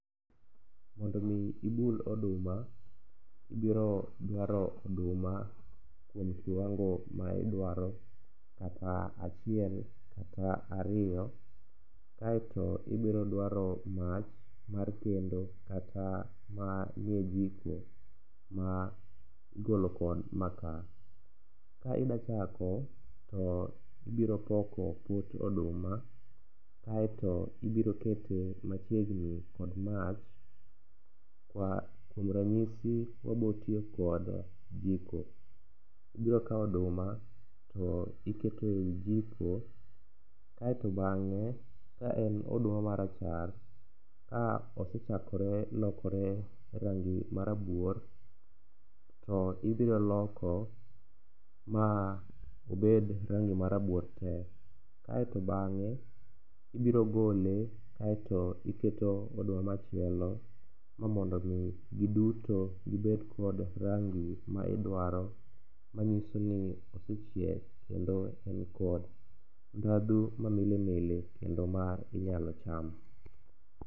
Mondo omi ibul oduma, ibiro dwaro oduma kuom kiwango ma idwaro kata achiel kata ariyo kaeto ibiro dwaro mach mar kendo kata manie jiko ma igolo kod maka. Ka idachako to ibiropoko pot oduma kaeto ibirokete machiegni kod mach kuom ranyisi wabotiyo kod jiko. Ibirokawo oduma to iketoe jiko kaeto bang'e kaen oduma marachar, ka osechakore lokore rangi marabuor to ibiroloko ma obed rangi marabuor te kaeto bang'e ibiro gole kaeto iketo oduma machielo mamondo omi giduto gibed kod rangi maidwaro manyiso ni osechiek kendo enkod ndhadhu mamilimili kendo ma inyalo cham.